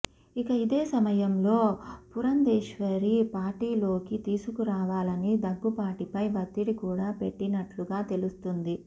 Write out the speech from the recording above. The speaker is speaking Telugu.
ఇక ఇదే సమయంలో పురందరేశ్వరి పార్టీలోకి తీసుకురావాలని దగ్గుపాటిపై ఒత్తిడి కూడా పెట్టినట్లుగా తెలుస్తుంది